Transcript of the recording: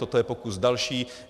Toto je pokus další.